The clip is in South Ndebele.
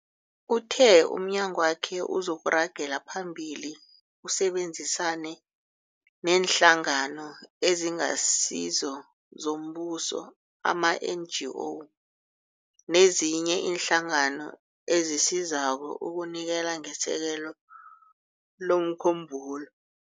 Uthe umnyagwakhe uzoragela phambili usebenzisane neeNhlangano eziNgasizo zoMbuso, ama-NGO, nezinye iinhlangano ezisizako ukunikela ngesekelo lomkhumbulo.